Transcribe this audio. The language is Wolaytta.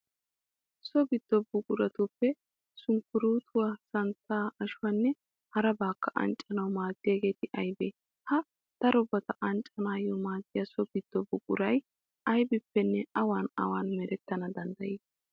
So giddo buquratuppe sunkkuruutuwa, santtaa, ashuwanne harabatakka anccanawu maaddiyagee aybee? Ha darobata anccanaayyo maaddiya so giddo buquray aybippenne awan awan merettana danddayii?